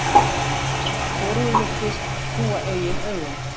Hvorugur virtist trúa eigin augum.